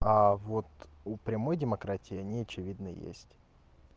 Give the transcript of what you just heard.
а вот у прямой демократии они очевидно есть